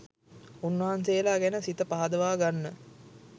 උන්වහන්සේලා ගැන සිත පහදවා ගන්න